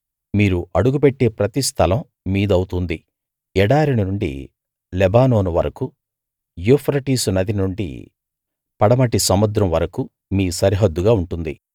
మీరు అడుగుపెట్టే ప్రతి స్థలం మీదవుతుంది ఎడారి నుండి లెబానోను వరకూ యూఫ్రటీసు నది నుండి పడమటి సముద్రం వరకూ మీ సరిహద్దుగా ఉంటుంది